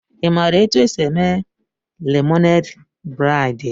Ị maara otú e si eme lemonade braid?